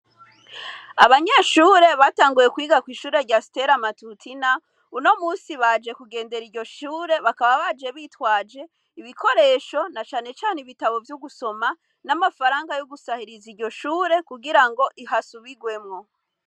Abanyeshure batanguye kwiga kw'ishure rya Stella Matutina , uno musi baje kugendera iryo shure bakaba baje bitwaje ibikoresho na cane cane ibitabo vyo gusoma n'amafaranga yo gusahiriza iryo shure kugirango hasubigwemwo.